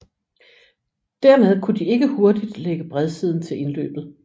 Dermed kunne de ikke hurtigt lægge bredsiden til indløbet